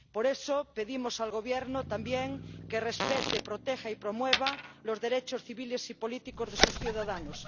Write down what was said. Por eso pedimos al Gobierno también que respete, proteja y promueva los derechos civiles y políticos de sus ciudadanos